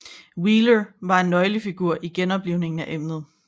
Wheeler var et nøglefigur i genoplivningen af emnet